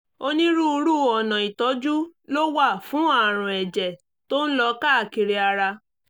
onírúurú ọ̀nà ìtọ́jú ló wà fún àrùn ẹ̀jẹ̀ tó ń lọ káàkiri ara